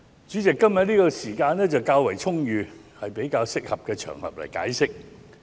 主席，今天的時間較為充裕，是一個較適合作解釋的場合。